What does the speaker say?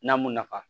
N'a m'u nafa